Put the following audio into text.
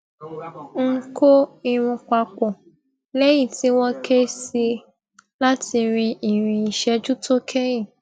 n kó irun papọ lẹyìn tí wọn ké sí i láti rin ìrìn ìṣẹjú tó kẹyìn